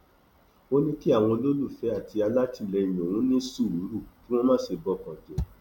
ó ní kí àwọn olólùfẹ àti alátìlẹyìn òun ní sùúrù kí wọn má sì bọkàn jẹ